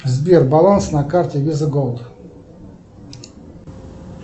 сбер баланс на карте виза голд